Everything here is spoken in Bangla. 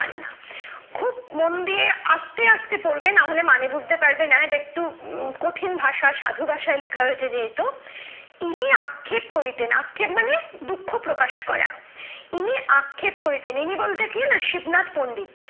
পড়বে না হলে মানুষ বুঝতে পারবে না যে একটু কঠিন ভাষায় সাধু ভাষায় লেখা হয়েছে যেহেতু তিনি আক্ষেপ করিতেন আক্ষেপ মানে দুঃখ প্রকাশ করা ইনি আক্ষেপ করিতেন ইনি বলতে কি শিবনাথ পন্ডিত